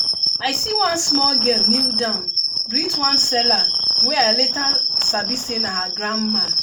i see one small girl kneel down greet one seller wey i later sabi say na her grandma.